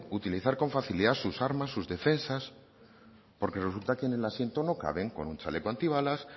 utilizar con facilidad sus armas sus defensas porque resulta que en el asiento no caben con un chaleco antibalas